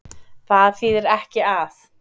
Það þýðir ekki að.